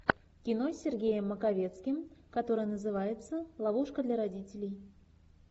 кино с сергеем маковецким которое называется ловушка для родителей